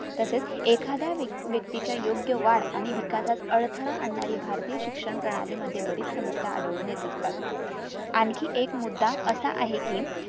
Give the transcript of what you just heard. तसेच एखाद्या व्यक व्यक्ती च्या योग्य वाढ आणि विकासस अडथळा आणणारी भारतीय शिक्षण प्रणाली मध्ये बरीच समस्या आढळून येत असतात आणखी एक मुदा असा आहे कि